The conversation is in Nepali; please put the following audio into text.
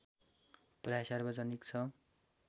प्रायः सार्वजनिक छ